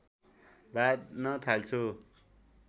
बाँध्न थाल्छु